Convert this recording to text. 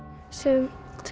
sumt